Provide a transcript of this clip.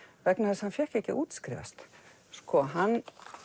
vegna þess að hann fékk ekki að útskrifast sko hann